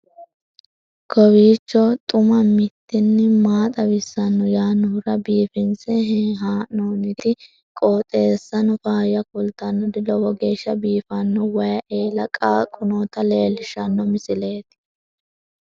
kowiicho xuma mtini maa xawissanno yaannohura biifinse haa'noonniti qooxeessano faayya kultannori lowo geeshsha biiffanno wayi eela qaaqu noota leellishshanno misileeti